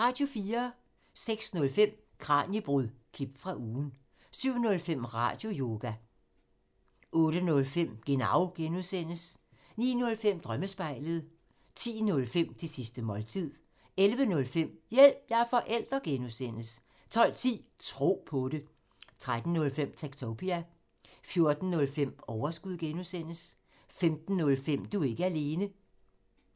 06:05: Kraniebrud – klip fra ugen 07:05: Radioyoga 08:05: Genau (G) 09:05: Drømmespejlet 10:05: Det sidste måltid 11:05: Hjælp – jeg er forælder! (G) 12:10: Tro på det 13:05: Techtopia 14:05: Overskud (G) 15:05: Du er ikke alene